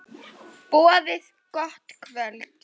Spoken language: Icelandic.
Boðið gott kvöld.